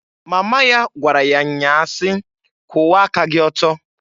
Mama ya gwara ya nnya ahụ si, "Kwuwa aka gị ọtọ!"